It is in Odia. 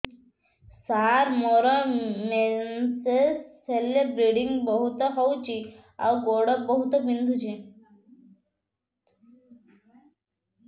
ସାର ମୋର ମେନ୍ସେସ ହେଲେ ବ୍ଲିଡ଼ିଙ୍ଗ ବହୁତ ହଉଚି ଆଉ ଗୋଡ ବହୁତ ବିନ୍ଧୁଚି